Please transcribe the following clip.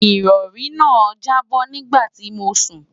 ìrọ̀rí náà jábọ́ nígbà tí mò ń sùn